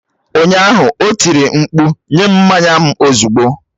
Ụnyaahụ, o tiri mkpu nye m mmanya m ozugbo!